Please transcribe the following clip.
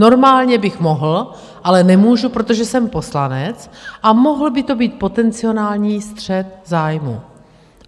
Normálně bych mohl, ale nemůžu, protože jsem poslanec a mohl by to být potenciální střet zájmů.